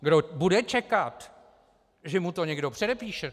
Kdo bude čekat, že mu to někdo předepíše?